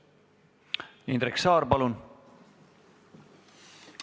Indrek Saar, palun!